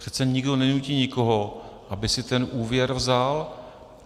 Přece nikdo nenutí nikoho, aby si ten úvěr vzal.